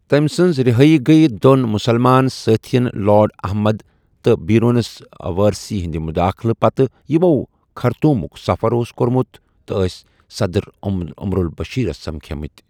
تٔمۍ سٕنٛز رِہٲیی گٔیہِ دوٚن مُسلمان سٲتھیٚن لارڈ احمد تہٕ بیرونس وارثی ہٕنٛدِ مُداخلَتہٕ پتہٕ یِمو خرطومُک سَفر اوس کوٚرمُت تہٕ ٲس صدر عمر البشیرَس سمکھے مٕتۍ ۔